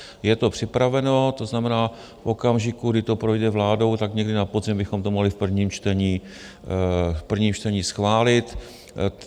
Je to připraveno, to znamená, v okamžiku, kdy to projde vládou, tak někdy na podzim bychom to mohli v prvním čtení schválit.